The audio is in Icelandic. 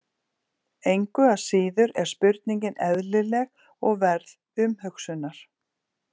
Engu að síður er spurningin eðlileg og verð umhugsunar.